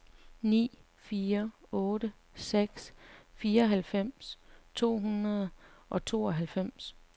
ni fire otte seks fireoghalvfems to hundrede og tooghalvfems